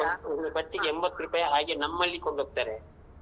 ಒಂದು ಕಟ್ಟಿಗೆ ಎಂಭತ್ತ್ ರೂಪೈ ಹಾಗೆ ನಮ್ಮಲ್ಲಿ ಕೊಂಡ್ಹೋಗ್ತಾರೆ.